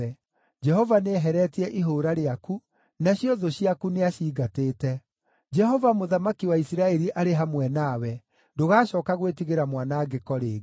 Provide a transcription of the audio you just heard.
Jehova nĩeheretie ihũũra rĩaku, nacio thũ ciaku nĩacingatĩte. Jehova mũthamaki wa Isiraeli arĩ hamwe nawe; ndũgacooka gwĩtigĩra mwanangĩko rĩngĩ.